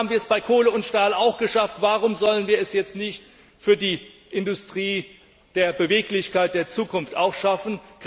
Ehemals haben wir es bei Kohle und Stahl auch geschafft, warum sollen wir es jetzt für die Industrie der Beweglichkeit, der Zukunft nicht auch schaffen?